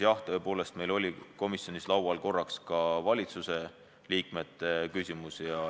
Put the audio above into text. Jah, tõepoolest meil oli komisjonis korraks üleval ka valitsusliikmete küsimus.